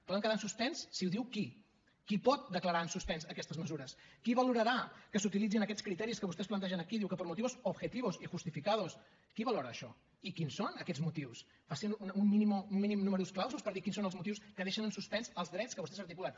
poden quedar en suspens si ho diu qui qui pot declarar en suspens aquestes mesures qui valorarà que s’utilitzin aquests criteris que vostès plantegen aquí diu que por motivos objetivos y justificados qui valora això i quins són aquests motius facin un mínim numerus claususdrets que vostès articulen